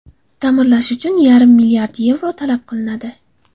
Ta’mirlash uchun yarim milliard yevro talab qilinadi.